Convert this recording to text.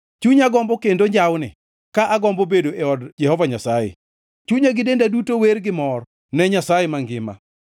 Chunya gombo kendo njawni ka agombo bedo e od Jehova Nyasaye; Chunya gi denda duto wer gi mor ne Nyasaye mangima.